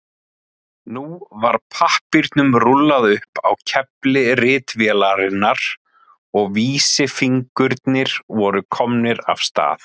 Nú var pappírnum rúllað upp á kefli ritvélarinnar og vísifingurnir voru komnir af stað.